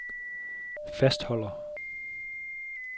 fastholder